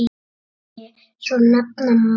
Fordyri svo nefna má.